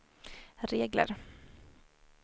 regler